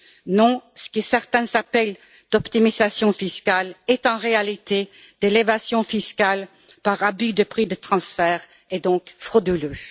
Non, ce que certains appellent de l'optimisation fiscale est en réalité de l'évasion fiscale par abus de prix de transfert, et est donc frauduleux.